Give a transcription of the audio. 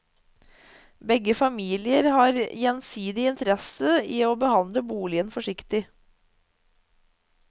Begge familier har gjensidig interesse i å behandle boligen forsiktig.